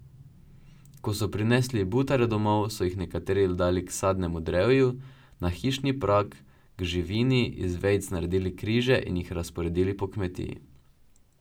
Ko so prinesli butare domov, so jih nekateri dali k sadnemu drevju, na hišni prag, k živini, iz vejic naredili križe in jih razporedili po kmetiji.